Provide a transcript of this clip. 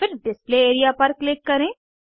फिर display area पर click करें